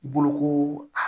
Boloko a